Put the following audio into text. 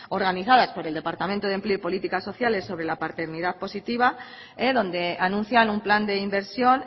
organizadas por el departamento de empleo y políticas sociales sobre la paternidad positiva donde anuncian un plan de inversión